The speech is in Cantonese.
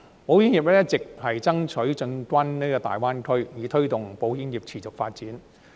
保險業一直爭取進軍大灣區，以推動保險業持續發展。